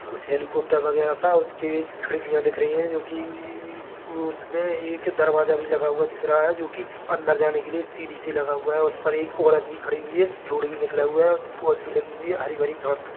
और पीछे एक कार दिख रही है पीछे एक खंबा भी दिख रहा है यहाँ पर रोड है यहाँ पर् ऐसा लगता है जैसे बस स्टैन्ड है बसों से हमें कही का कहीं भी अगर हमें जाना पड़ता है तो हम वहाँ तक जाने के लिए सफर तय करते है और आराम से वहाँ पहुचते है।